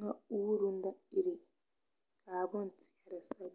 ŋa uuruŋ da ire .